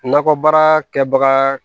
Nakɔbaara kɛbaga